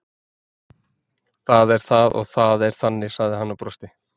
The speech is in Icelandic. Það er það og það er þannig sagði hann og brosti.